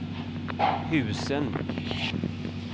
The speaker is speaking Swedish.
husen